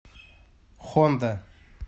хонда